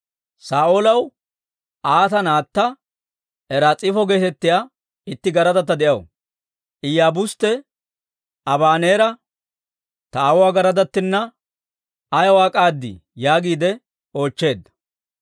Saa'oolaw Aata naatta Ris'ifo geetettiyaa itti garadatta de'aw; Iyaabustte Abaneera, «Ta aawuwaa garadattinna ayaw ak'aadii?» yaagiide oochcheedda.